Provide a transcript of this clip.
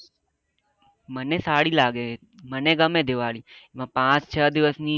મને સારી લાગે મને ગમે દિવાળી અન પાંચ છ દિવસ ની